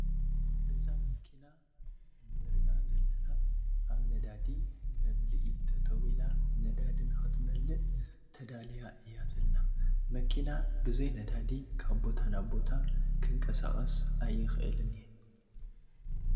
እዛ መኪና ንርአ ዘለና አብ ነዳዲ መ ምልኢ ጠጠው ኢላ ነዳዲ ንክትመልእ ተዳልያ እያ ዘላ ።መኪና ብዘይ ነዳዲ ካብ ቦታ ናብ ቦታ ክትንቀሳቀስ አይትክእልን እያ ።